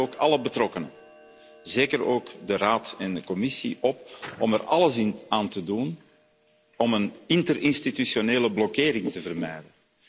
Ik roep dan ook alle betrokkenen, zeker ook de Raad en de Commissie, op om er alles aan te doen om een interinstitutionele blokkering te vermijden.